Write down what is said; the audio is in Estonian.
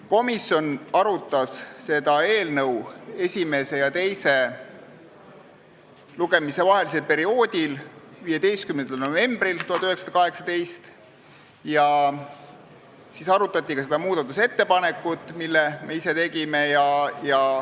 Komisjon arutas seda eelnõu esimese ja teise lugemise vahelisel perioodil 15. novembril 2018 ja siis arutati ka seda muudatusettepanekut, mille me ise tegime.